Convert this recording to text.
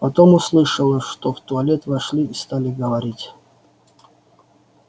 потом услышала что в туалет вошли и стали говорить